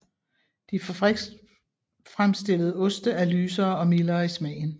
De fabriksfremstillede oste er lysere og mildere i smagen